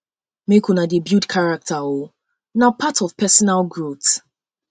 make una dey build character o na part of personal growth personal growth